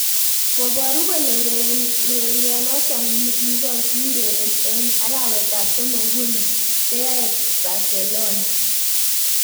Koboru kole urerionoto nikitokiurereni eng arawet ab somok nguni keyae Barcelona.